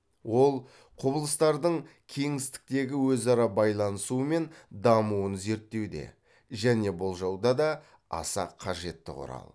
ол құбылыстардың кеңістіктегі өзара байланысуы мен дамуын зерттеуде және болжауда да аса қажетті құрал